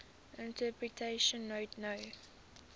interpretation note no